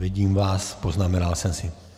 Vidím vás, poznamenal jsem si.